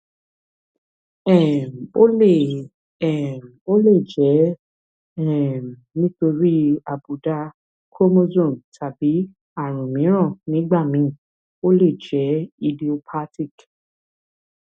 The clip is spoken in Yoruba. um ó lè um ó lè jẹ um nítorí àbùdá chromosome tàbí ààrùn mìíràn nígbà míì ó lè jẹ idiopathic